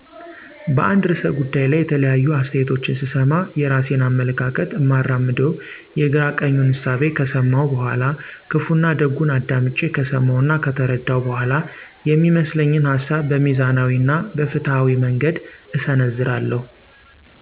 በአንድ ርዕሰ ጉዳይ ላይ የተለያዩ አስተያየቶችን ስሰማ፣ የራሴን አመለካከት እማራምደው የግራ ቀኙን እሳቤ ከሰመው በኋላ፣ ክፋና ደጉን አዳምጨ ከሰመው እና ከተረደው በኋላ፤ የሚመስለኝን ሀሳብ በሚዛናዊ እና በፋትሀዊ መንገድ እሰነዝራለሁ።